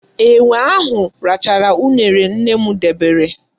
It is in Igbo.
Enwe ahụ rachara uṅere nne m debere.